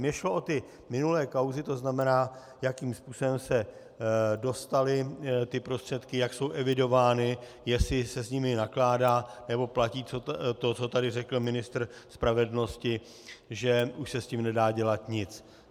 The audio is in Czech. Mně šlo o ty minulé kauzy, to znamená, jakým způsobem se dostaly ty prostředky, jak jsou evidovány, jestli se s nimi nakládá, nebo platí to, co tady řekl ministr spravedlnosti, že už se s tím nedá dělat nic.